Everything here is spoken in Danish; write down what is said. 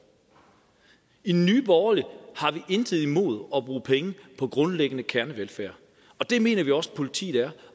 i nye borgerlige har vi intet imod at bruge penge på grundlæggende kernevelfærd og det mener vi også politiet er